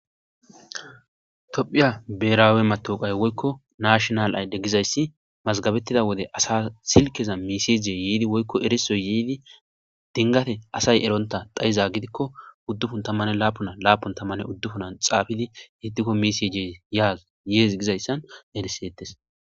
Toophiya berawe matawukiya woyiko nashinale ayide giza issi mazagabetido wode asa silkedan mesije yiddi woykko erisoyi yiddi dingate asayi eronta xayikko udupun tamane lapuna lapuna tamani xatidi meseje yes giz iza besetes.